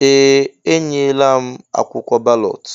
Ee! Enyela m akwụkwọ balọt.